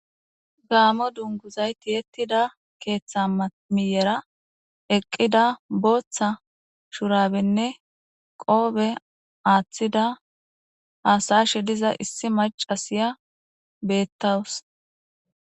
Gaamo dungguzay tiyyetida keththa miyyera eqqida boththa shurabenne qobbe aaththida hasa7ashe diiza issi maccasiya betawusu.